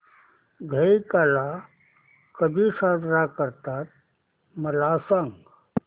दहिकाला कधी साजरा करतात मला सांग